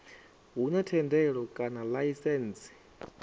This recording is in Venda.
hu na thendelo kana laisentsi